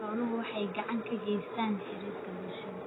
Xooluhu waxay gacan ka geystaan ??xiriirka bulshada.